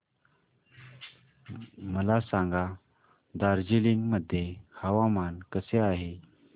मला सांगा दार्जिलिंग मध्ये हवामान कसे आहे